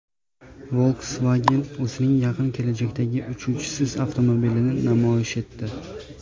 Volkswagen o‘zining yaqin kelajakdagi "Uchuvchisiz" avtomobilini namoyish etdi.